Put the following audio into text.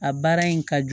A baara in ka jugu